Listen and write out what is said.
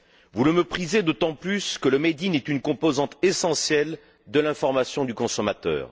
Vous le méprisez d'autant plus que le made in est une composante essentielle de l'information du consommateur.